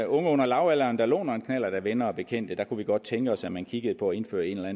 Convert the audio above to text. unge under lavalderen der låner en knallert af venner og bekendte kunne vi godt tænke os at man kiggede på at indføre en eller